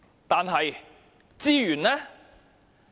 但是，資源呢？